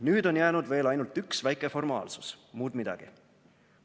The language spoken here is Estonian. Nüüd on jäänud veel ainult üks väike formaalsus, muud midagi.